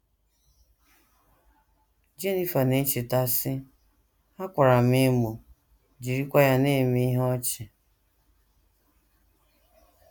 Jenifer na - echeta, sị: “ Ha kwara m emo, jirikwa ya na - eme ihe ọchị. ”